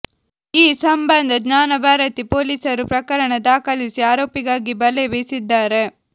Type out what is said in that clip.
ಈ ಸಂಬಂಧ ಜ್ಞಾನಭಾರತಿ ಪೊಲೀಸರು ಪ್ರಕರಣ ದಾಖಲಿಸಿ ಆರೋಪಿಗಾಗಿ ಬಲೆ ಬೀಸಿದ್ದಾರೆ